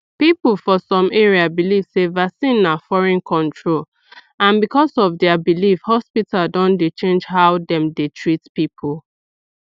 people for some area believe sey vaccine na foreign control and because of their belief hospital don dey change how dem dey treat people